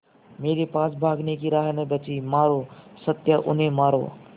मेरे पास भागने की राह न बची मारो सत्या उन्हें मारो